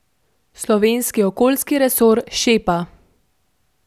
Slovenski okoljski resor šepa.